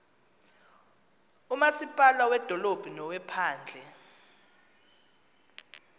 umasipala wedolophu nowephandle